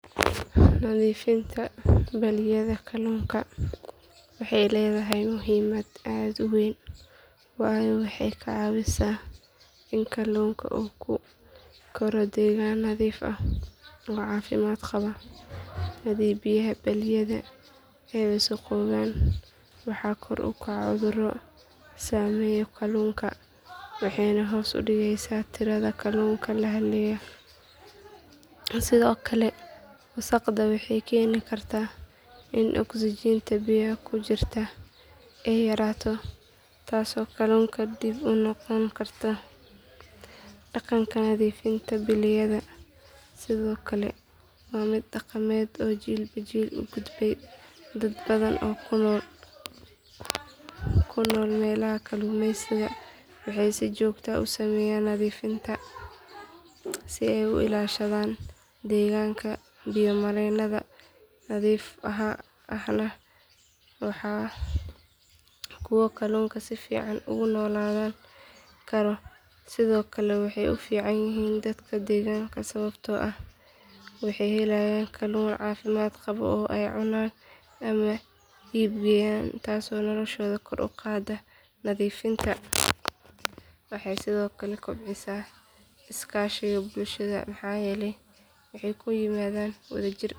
Nadiifinta balliyada kalluunka waxay leedahay muhiimad aad u weyn waayo waxay ka caawisaa in kalluunka uu ku koro deegaan nadiif ah oo caafimaad qaba hadii biyaha balliyada ay wasakhoobaan waxaa kor u kacaya cuduro saameeya kalluunka waxayna hoos u dhigeysaa tirada kalluunka la helayo sidoo kale wasakhda waxay keeni kartaa in oksijiinta biyaha ku jirta ay yaraato taasoo kalluunka dhib ku noqon karta dhaqanka nadiifinta balliyada sidoo kale waa mid dhaqameed oo jiilba jiil u gudbay dad badan oo ku nool meelaha kalluumeysiga waxay si joogto ah u sameeyaan nadiifinta si ay u ilaashadaan deegaanka biyo mareennada nadiif ahna waa kuwo kalluunku si fiican ugu noolaan karo sidoo kale waxay u fiican yihiin dadka deegaanka sababtoo ah waxay helayaan kalluun caafimaad qaba oo ay cunaan ama iib geeyaan taasoo noloshooda kor u qaadda nadiifinta waxay sidoo kale kobcisaa iskaashiga bulshada maxaa yeelay waxay ku yimaadaan si wadajir ah.